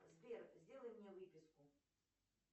сбер сделай мне выписку